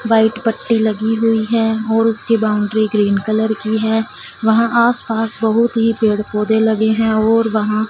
White पट्टी लगी हुई है और उसके बाउंड्री ग्रीन कलर की है। वहां आसपास बहुत ही पेड़-पौधे लगे हैं और वहां--